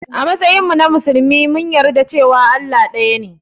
A matsayinmu na musulmi mun yarda cewa Allah ɗaya ne.